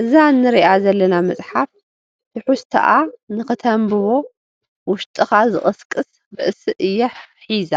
እዛ ንሪኣ ዘለና መፅሓፍ ትሕዝቶኣ ንክተንብቦ ውሽጥኻ ዝቕስቅስ ርእሲ እያ ሒዛ፡፡